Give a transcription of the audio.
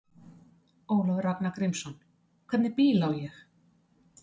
Ólafur Ragnar Grímsson: Hvernig bíl á ég?